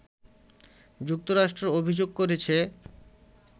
যুক্তরাষ্ট্র অভিযোগ করেছে